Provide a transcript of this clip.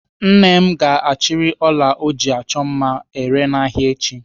Nne m ga-achịrị ọla ọ ji achọ mma ere n'ahịa echi.